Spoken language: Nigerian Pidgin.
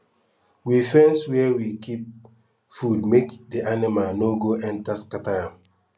we fence where we kip food make d anima no go enta scatter am